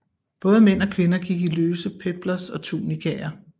Både mænd og kvinder gik i løse peplos og tunikaer